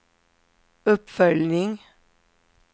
uppföljning